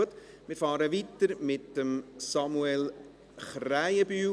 Gut, wir fahren fort mit Samuel Krähenbühl.